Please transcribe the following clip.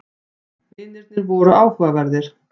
Vinirnir voru áhugaverðir.